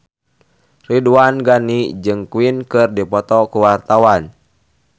Ridwan Ghani jeung Queen keur dipoto ku wartawan